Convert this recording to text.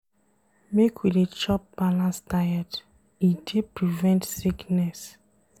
Make we dey chop balanced diet, e dey prevent sickness.